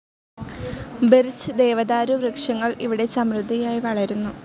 Birch, ദേവദാരു വൃക്ഷങ്ങൾ ഇവിടെ സമൃദ്ധിയായി വളരുന്നു.